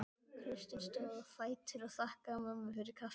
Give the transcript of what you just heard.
Kristín stóð á fætur og þakkaði mömmu fyrir kaffið.